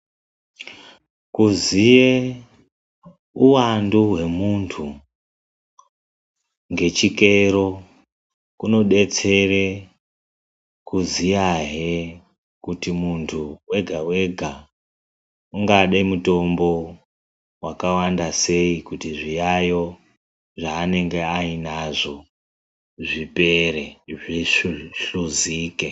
Kuziye uwandu hwemuntu ngechikero kunodetsere kuziyahe kuti mundhu wega wega ungade mutombo wakawanda sei, kuti zviyayo zvaanonga ainazvo zvipere zvihluzike.